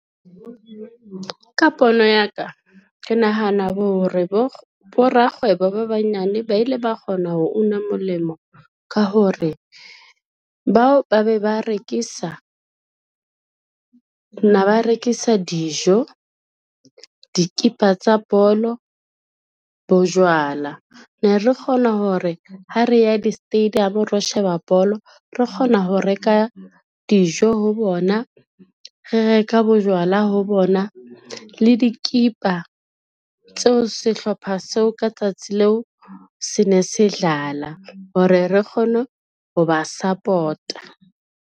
Ka pono ya ka ke nahana hore borakgwebo ba banyane ba ile ba kgona ho una molemo ka hore, bao ba be ba rekisa na ba rekisa dijo, dikipa tsa bolo, bojwala. Ne re kgona hore ha re ya di-stadium ro sheba bolo, re kgona ho reka dijo ho bona, re reka bojwala ho bona le dikipa tseo sehlopha seo ka tsatsi leo se ne se dlala, hore re kgone ho ba support-a.